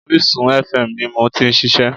Orísun fm ni mo ti n ṣiṣẹ́